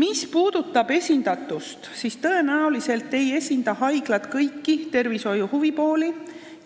Mis puudutab esindatust, siis tõenäoliselt ei esinda haiglad kõiki tervishoiusektori huvipooli